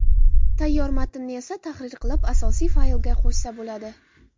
Tayyor matnni esa tahrir qilib, asosiy faylga qo‘shsa bo‘ladi.